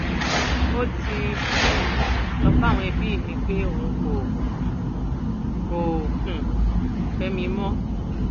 ó ti um lọọ bá àwọn ẹbí mi pé òun kò um kò um fẹ mi mọ